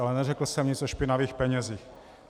Ale neřekl jsem nic o špinavých penězích.